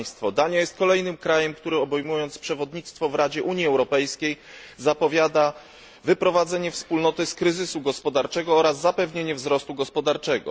Dania jest kolejnym krajem, który obejmując przewodnictwo w Radzie Unii Europejskiej zapowiada wyprowadzenie Wspólnoty z kryzysu gospodarczego oraz zapewnienie wzrostu gospodarczego.